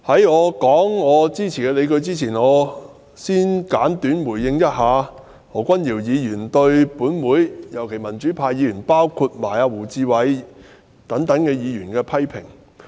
在我論述支持的理據前，我想先簡短回應何君堯議員對本會議員，特別是對民主派議員的批評。